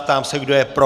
Ptám se, kdo je pro.